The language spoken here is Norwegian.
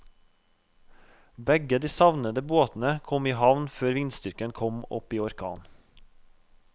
Begge de savnede båtene kom i havn før vindstyrken kom opp i orkan.